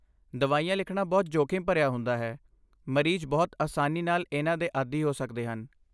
ਦਵਾਈਆਂ ਲਿਖਣਾ ਬਹੁਤ ਜੋਖਮ ਭਰਿਆ ਹੁੰਦਾ ਹੈ, ਮਰੀਜ਼ ਬਹੁਤ ਆਸਾਨੀ ਨਾਲ ਇਹਨਾਂ ਦੇ ਆਦੀ ਹੋ ਸਕਦੇ ਹਨ।